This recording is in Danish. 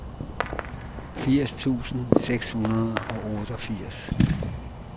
firs tusind seks hundrede og otteogfirs